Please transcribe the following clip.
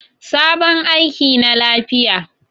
Sabon aiki na lafiya.